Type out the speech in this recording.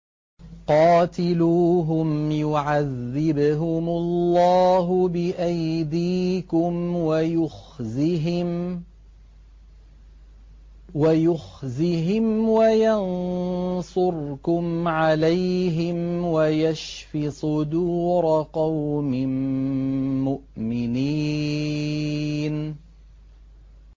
قَاتِلُوهُمْ يُعَذِّبْهُمُ اللَّهُ بِأَيْدِيكُمْ وَيُخْزِهِمْ وَيَنصُرْكُمْ عَلَيْهِمْ وَيَشْفِ صُدُورَ قَوْمٍ مُّؤْمِنِينَ